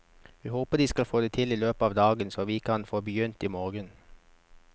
Vi håper de skal få det til i løpet av dagen så vi kan få begynt i morgen.